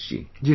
Ji Sir